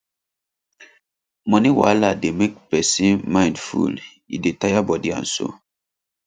money wahala dey make person mind full e dey tire body and soul